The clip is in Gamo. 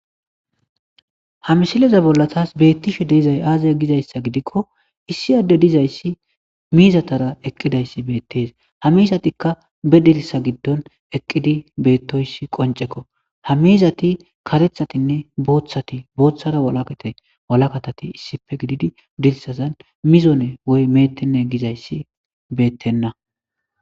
Ha mishileza bolla taas beettishe deizay aaze gizayssa gidikko issi adde dizayssi miizatara eqqidayssi beettees ha mizatikka be dirsa giddon eqqidi beettoyssi qoncekko ha mizati katethatinne booththati booththara walakate walakatati issife gididi dirsazan mizone woy meettenne gizayssi beettenna.